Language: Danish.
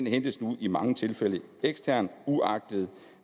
hentes nu i mange tilfælde eksternt uagtet